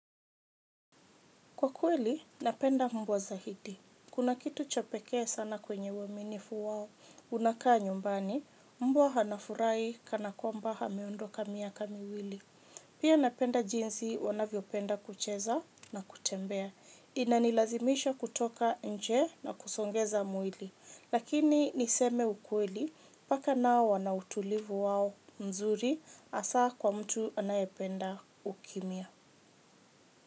Kwa kweli, napenda mbwa zaidi. Kuna kitu cha pekee sana kwenye uaminifu wao unakaa nyumbani, mbwa anafurahi kana kwamba ameondoka miaka miwili. Pia napenda jinsi wanavyo penda kucheza na kutembea. Inanilazimisha kutoka nje na kusongeza mwili. Lakini niseme ukweli, paka nao wana utulivu wao mzuri hasa kwa mtu anayependa ukimya.